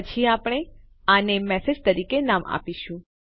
પછી આપણે આને મેસેજ તરીકે નામ આપીશું